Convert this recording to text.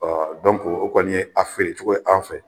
o kɔni ye an feerecɔgɔ ye an fɛ